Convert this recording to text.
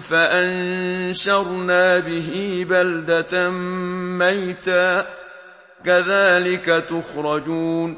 فَأَنشَرْنَا بِهِ بَلْدَةً مَّيْتًا ۚ كَذَٰلِكَ تُخْرَجُونَ